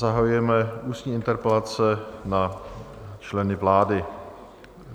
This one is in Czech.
Zahajujeme ústní interpelace na členy vlády.